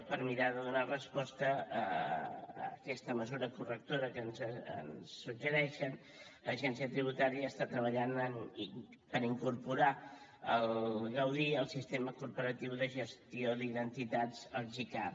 per mirar de donar resposta a aquesta mesura correctora que ens suggereixen l’agència tributària està treballant per incorporar el gaudí al sistema corporatiu de gestió d’identitats el gicar